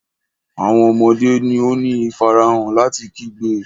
Awọn ọmọde ni o ni ifarahan lati kigbe.